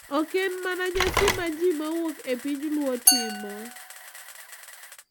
Oken mana nyasi ma ji mawuok e piny Luo timo;